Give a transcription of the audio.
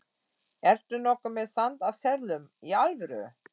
Ertu nokkuð með sand af seðlum. í alvöru?